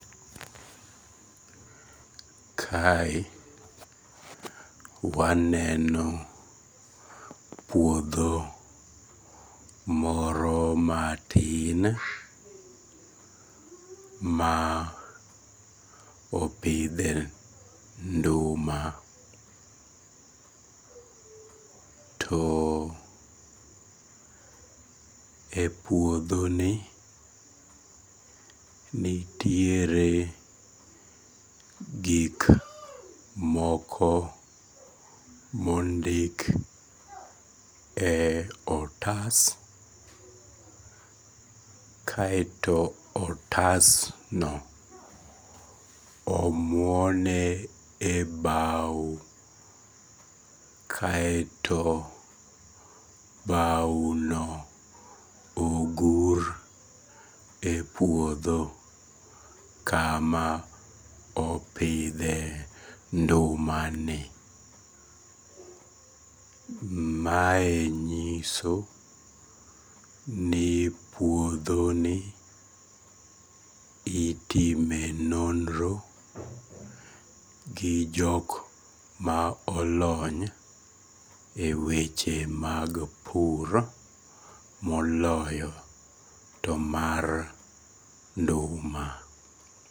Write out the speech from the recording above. Kae waneno uodho moro matin ma opidhe nduma to epuodhoni nitiere gik moko mondik e otas kaeto otasno omuone e bao kaeto baono ogur epuodho kama opidhe ndumani. Mae nyiso ni puodhoni itime nonro gi jok ma olony eweche mag pur moloyo to mar nduma.